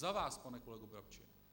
Za vás, pane kolego Brabče.